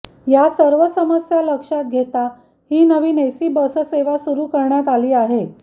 या सर्व समस्या लक्षात घेता ही नवीन एसी बससेवा सुरु करण्यात आली आहे